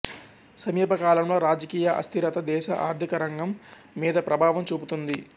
సమీపకాలంలో రాజకీయ అస్థిరత దేశ ఆర్థికరగం మీద ప్రభావం చూపుతుంది